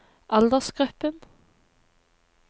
aldersgruppen